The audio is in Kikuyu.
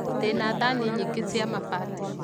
Ndĩna thani nyingĩ cia mabati